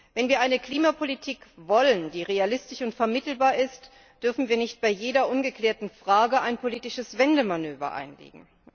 Wenn wir eine Klimapolitik wollen, die realistisch und vermittelbar ist, dürfen wir nicht bei jeder ungeklärten Frage ein politisches Wendemanöver einlegen.